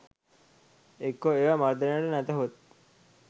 එක්කෝ ඒවා මර්දනයට නැතහොත්